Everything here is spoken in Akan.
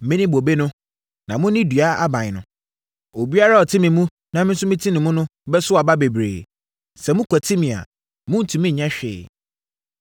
“Mene bobe no; na mone dua aban no. Obiara a ɔte me mu na mete ne mu no bɛso aba bebree; sɛ mokwati me a, morentumi nyɛ hwee.